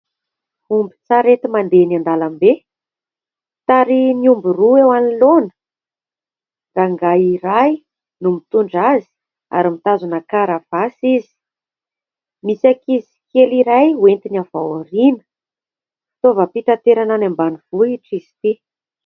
Ombin-tsarety mandeha eny an-dalambe tarihin'ny omby roa eo anoloana. Rangahy iray no mitondra azy ary mitazona karavasy izy. Misy ankizy kely iray entiny avy ao aoriana. Fitaovam-pitaterana any ambanivohitra izy ity.